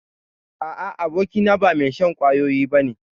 A'a, abokina ba mai shan kwayoyi ba ne.